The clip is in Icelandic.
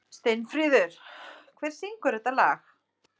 Steinfríður, hver syngur þetta lag?